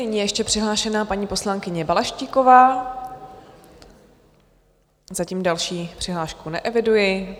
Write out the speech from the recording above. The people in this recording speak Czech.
Nyní je ještě přihlášená paní poslankyně Balaštíková, zatím další přihlášku neeviduji.